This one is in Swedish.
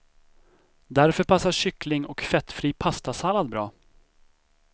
Därför passar kyckling och fettfri pastasallad bra.